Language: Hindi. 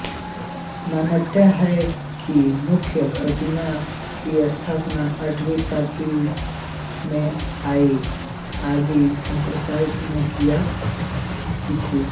मान्यता है कि मुख्य प्रतिमा की स्थापना आठवीं सदी में आदि शंकराचार्य ने की थी